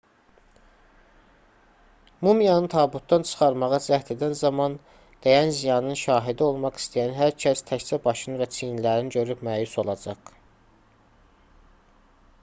mumiyanı tabutdan çıxarmağa cəhd edən zaman dəyən ziyanın şahidi olmaq istəyən hər kəs təkcə başını və çiyinlərini görüb məyus olacaq